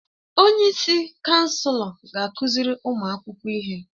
Onyeisi kansụl ga-akụziri ụmụ akwụkwọ ihe.